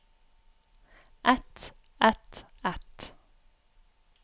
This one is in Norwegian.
et et et